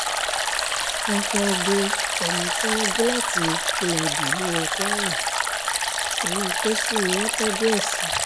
wọ́n fẹ́ẹ́ gbé ọmọ tí wọ́n jí láti ilé benin wọ kwara inú pósí ni wọ́n tọ́jú ẹ̀ sí